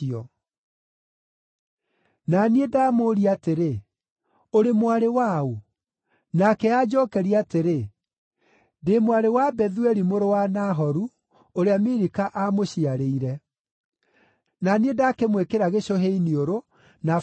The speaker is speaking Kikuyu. “Na niĩ ndamũũria atĩrĩ, ‘Ũrĩ mwarĩ wa ũ?’ “Nake anjookeria atĩrĩ, ‘Ndĩ mwarĩ wa Bethueli mũrũ wa Nahoru, ũrĩa Milika aamũciarĩire.’ “Na niĩ ndakĩmwĩkĩra gĩcũhĩ iniũrũ, na bangiri moko,